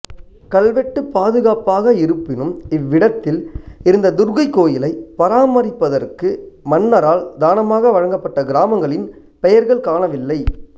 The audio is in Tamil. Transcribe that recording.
கல்வெட்டு பாதுகாப்பாக இருப்பினும் இவ்விடத்தில் இருந்த துர்கை கோயிலை பராமரிப்பதற்கு மன்னரால் தானமாக வழங்கப்பட்ட கிராமங்களின் பெயர்கள் காணவில்லை